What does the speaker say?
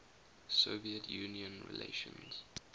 soviet union relations